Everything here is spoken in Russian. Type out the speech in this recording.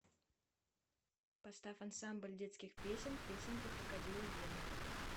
поставь ансамбль детских песен песенка крокодила гены